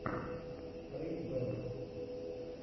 фэйз бэнкс